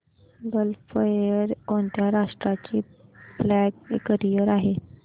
gulf Air कोणत्या राष्ट्राची flag carrier आहे